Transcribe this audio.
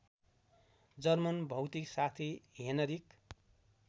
German भौतिकशास्त्री Heinrich